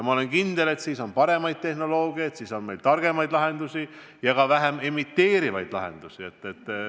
Ma olen kindel, et siis on paremaid tehnoloogiad, siis on meil targemaid lahendusi ja ka vähem CO2 emiteerivaid lahendusi.